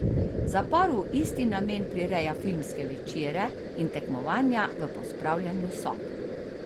Zapor v isti namen prireja filmske večere in tekmovanja v pospravljanju sob.